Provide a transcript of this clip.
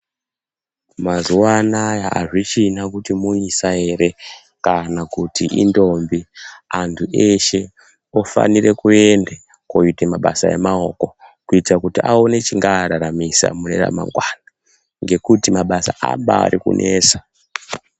Mazuva anawa azvichina kuti muisa ere kana kuti indombi antu eshe ofanira kuenda koita mabasa emaoko kuti aone chingava raramisa Mune ramangwana ngekuti mabasa arikuba nesa.